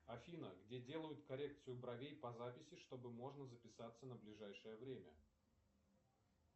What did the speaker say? афина где делают коррекцию бровей по записи чтобы можно записаться на ближайшее время